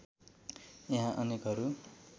यहाँ अनेकहरू